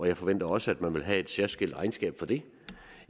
jeg forventer også at man vil have et særskilt regnskab for det